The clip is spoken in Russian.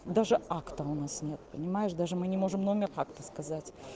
даже акта у нас нет понимаешь даже мы не можем номер акта сказать